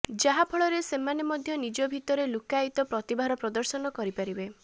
ଯାହାଫଳରେ ସେମାନେ ମଧ୍ୟ ନିଜ ଭିତରେ ଲୁକ୍କାୟିତ ପ୍ରତିଭାର ପ୍ରଦର୍ଶନ କରିପାରିବେ